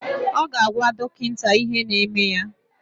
Ọ ga-agwa dọkịta ihe na-eme ya